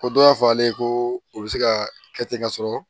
Ko dɔ y'a fɔ ale ye ko o bɛ se ka kɛ ten ka sɔrɔ